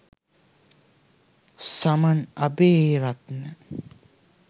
saman abeyrathne